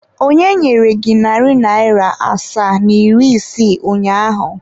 Onye nyere gị narị naira asaa na iri isii ụnyaahụ?